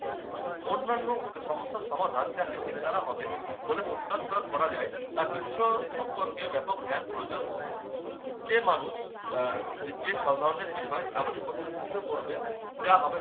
অন্যান্য সমস্যার সমাধান যা machine দ্বারা হবে বলে প্রত্যাশা করা যায় তা বিশ্বায়ক সম্পর্কে ব্যাপক জ্ঞান প্রয়োজন হবে যে মানুষ আহ যে সব ধরণের বিষয় এমনি প্রতিনিধিত্ব করবে যা হবে-